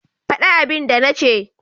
Fada abin da na ce.